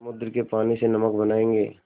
समुद्र के पानी से नमक बनायेंगे